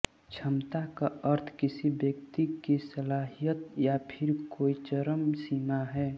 क्षमता का अर्थ किसी व्यक्ति की सलाहियत या फिर कोई चरम सीमा है